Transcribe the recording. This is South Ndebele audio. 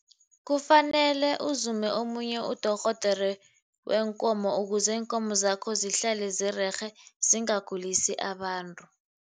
Kufanele uzume omunye udorhodere weenkomo ukuze iinkomo zakho zihlale zirerhe, zingagulisa abantu.